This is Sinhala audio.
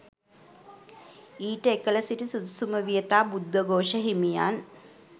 ඊට එකල සිටි සුදුසුම වියතා බුද්ධඝෝෂ හිමියන්